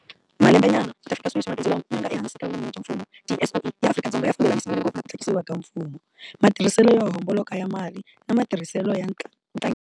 Malembenyana kutafika sweswi, mabindzu lama nga ehansi ka vun'wini bya mfumo, tiSOE, ya Afrika-Dzonga ya fambelanisiwile ngopfu na ku tlhakisiwa ka mfumo, matirhiselo yo homboloka ya mali na matirhiselo ya.